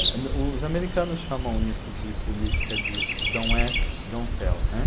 O os americanos chamam isso de política de don't ask, don't tell, né.